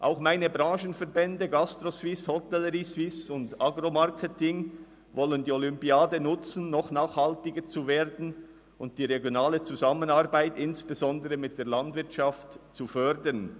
Auch meine Branchenverbände GastroSuisse, Hotelleriesuisse und Agro-Marketing Suisse wollen die Olympiade nutzen, um noch nachhaltiger zu werden und die regionale Zusammenarbeit, insbesondere mit der Landwirtschaft, zu fördern.